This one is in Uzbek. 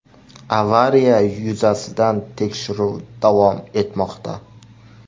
Avariya yuzasidan tekshiruv davom etmoqda.